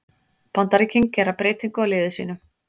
Bandaríkin gera breytingu á liði sínu